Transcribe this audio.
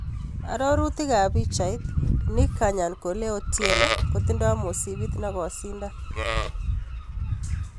Arorutik ab pichait, Nick 'Kanyankole' Otieno kotindo mosipit nokosindan.